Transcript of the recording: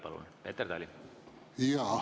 Palun, Peeter Tali!